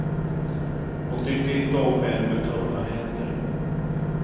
Hon tyckte inte om män med tunna händer.